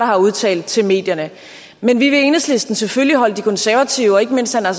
har udtalt til medierne men vi vil i enhedslisten selvfølgelig holde de konservative og ikke mindst herre